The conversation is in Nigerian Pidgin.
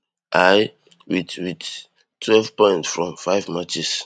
i wit wit twelve points from five matches